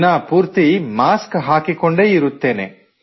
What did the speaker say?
ದಿನಪೂರ್ತಿ ಮಾಸ್ಕ್ ಹಾಕಿಕೊಂಡೇ ಇರುತ್ತೇನೆ